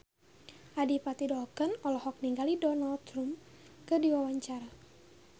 Adipati Dolken olohok ningali Donald Trump keur diwawancara